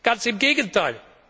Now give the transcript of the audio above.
Ganz im Gegenteil!